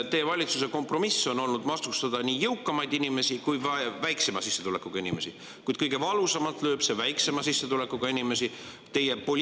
Teie valitsuse kompromiss on olnud vastustada nii jõukamaid inimesi kui ka väiksema sissetulekuga inimesi, kuid kõige valusamalt lööb see väiksema sissetulekuga inimeste pihta.